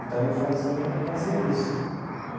Então, eu fazia fazia isso.